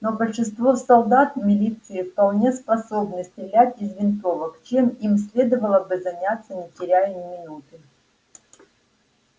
но большинство солдат милиции вполне способны стрелять из винтовок чем им следовало бы заняться не теряя ни минуты